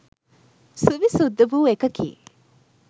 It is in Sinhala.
සුවිසුද්ද වූ එකකි.